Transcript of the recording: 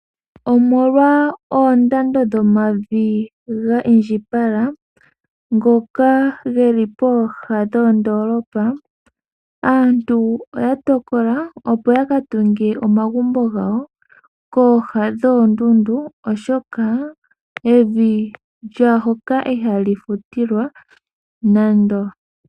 Omolwa oondando dhomavi ga indjipala ngoka geli pooha dhoondoolopa, aantu oya tokola opo ya ka tunge omagumbo gawo kooha dhoondundu, oshoka evi lyaahoka ihali futilwa nando.